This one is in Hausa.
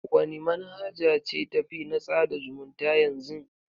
Wani manhaja ce ta fi na tsada zumunta yanzy?